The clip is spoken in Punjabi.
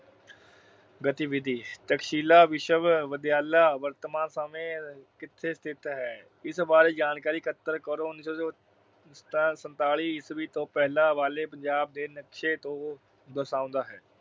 ਗਤੀਵਿਧੀ- ਤਕਸ਼ੀਲਾ ਵਿਸ਼ਵਵਿਦਿਆਲਾ ਵਰਤਮਾਨ ਸਮੇਂ ਕਿੱਥੇ ਸਥਿਤ ਹੈ। ਇਸ ਬਾਰੇ ਜਾਣਕਾਰੀ ਇੱਕਤਰ ਕਰੋ। ਉਨੀ ਸੌ ਸੰਤਾਲੀ ਅਹ ਈਸਵੀ ਤੋਂ ਪਹਿਲਾਂ ਵਾਲੇ ਪੰਜਾਬ ਦੇ ਨਕਸ਼ੇ ਤੋਂ ਦਰਸਾਉਂਦਾ ਹੈ।